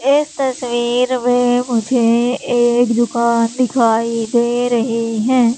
इस तस्वीर मे मुझे एक दुकान दिखाई दे रही है।